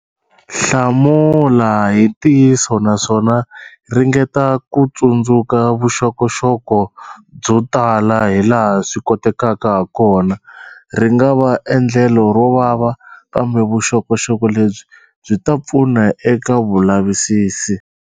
Hlamula hi ntiyiso naswona ringeta ku tsundzuka vuxokoxoko byo tala hilaha swi kotekaka hakona. Ri nga va endlelo ro vava, kambe vuxokoxoko lebyi byi ta pfuna eka vulavisisi.